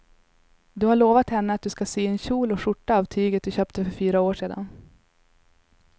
Du har lovat henne att du ska sy en kjol och skjorta av tyget du köpte för fyra år sedan.